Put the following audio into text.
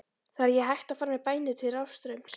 Það er ekki hægt að fara með bænir til rafstraums.